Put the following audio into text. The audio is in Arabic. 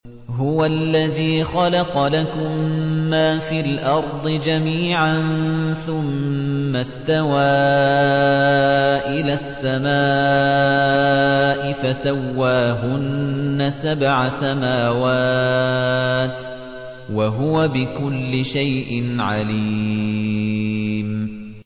هُوَ الَّذِي خَلَقَ لَكُم مَّا فِي الْأَرْضِ جَمِيعًا ثُمَّ اسْتَوَىٰ إِلَى السَّمَاءِ فَسَوَّاهُنَّ سَبْعَ سَمَاوَاتٍ ۚ وَهُوَ بِكُلِّ شَيْءٍ عَلِيمٌ